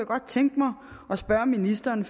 godt tænke mig at spørge ministeren